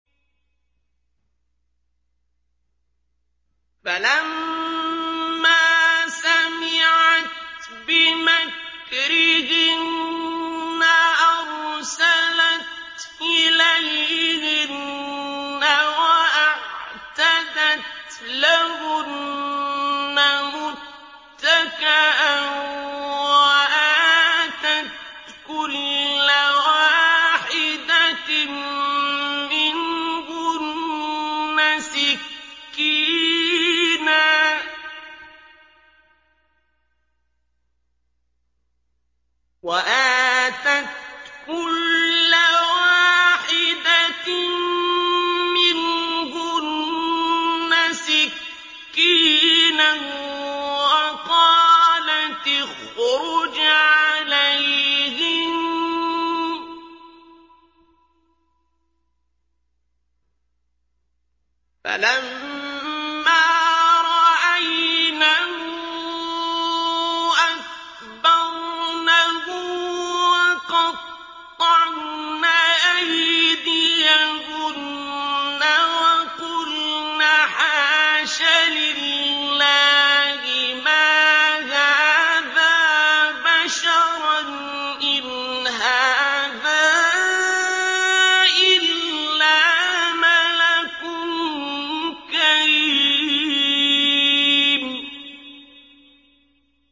فَلَمَّا سَمِعَتْ بِمَكْرِهِنَّ أَرْسَلَتْ إِلَيْهِنَّ وَأَعْتَدَتْ لَهُنَّ مُتَّكَأً وَآتَتْ كُلَّ وَاحِدَةٍ مِّنْهُنَّ سِكِّينًا وَقَالَتِ اخْرُجْ عَلَيْهِنَّ ۖ فَلَمَّا رَأَيْنَهُ أَكْبَرْنَهُ وَقَطَّعْنَ أَيْدِيَهُنَّ وَقُلْنَ حَاشَ لِلَّهِ مَا هَٰذَا بَشَرًا إِنْ هَٰذَا إِلَّا مَلَكٌ كَرِيمٌ